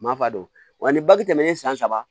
Ma fa don wa ni baki tɛmɛnen san saba